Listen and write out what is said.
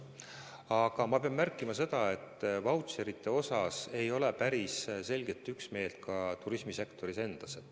Aga ma pean märkima, et vautšerite osas ei ole päris selget üksmeelt ka turismisektoris endas.